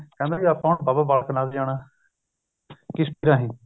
ਵੀ ਆਪਾ ਬਾਬਾ ਬਲਾਕ ਨਾਥ ਜਾਣਾ ਕਿਸ਼ਤੀ ਰਾਹੀ